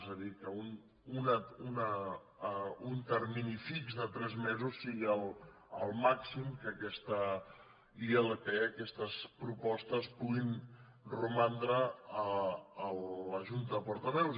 és a dir que un termini fix de tres mesos sigui el màxim que aquesta ilp aquestes propostes puguin romandre a la junta de portaveus